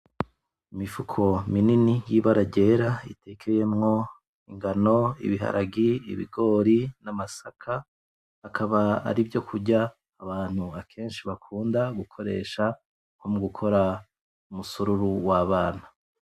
Imifuko minini y’ ibara ryera ritekeyemwo ingano, ibaharage, ibigori n’amasaka. Akaba ari vyo kurya abantu akenshi bakunda gukoresha nko mugukora umusururu w’abana.